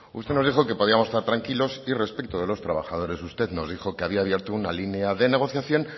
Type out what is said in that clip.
usted nos dijo que podíamos estar tranquilos y respecto de los trabajadores usted nos dijo que había abierto una línea de negociación